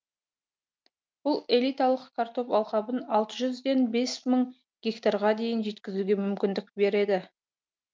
бұл элиталық картоп алқабын алты жүзден бес мың гектарға дейін жеткізуге мүмкіндік береді